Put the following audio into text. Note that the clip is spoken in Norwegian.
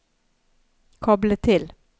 koble til